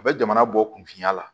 A bɛ jamana bɔ kunfinya la